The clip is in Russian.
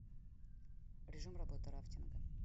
режим работы рафтинга